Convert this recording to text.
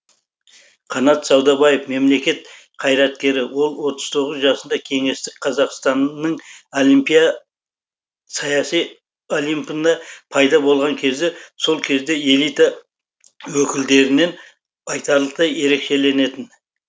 қанат саудабаев мемлекет қайраткері ол отыз тоғыз жасында кеңестік қазақстанның саяси олимпында пайда болған кезде сол кездегі элита өкілдерінен айтарлықтай ерекшеленетін